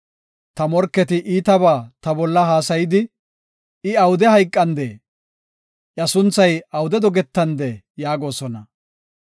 Ta morketi iitabaa ta bolla haasayidi, “I awude hayqandee? iya sunthay awude dogetandee?” yaagosona.